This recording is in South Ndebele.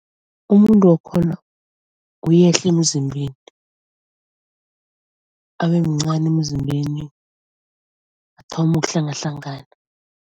Umuntu wakhona uyehla emzimbeni. Abe mncani emzimbeni, athome ukuhlangahlangana.